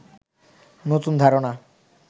নতুন ধারণা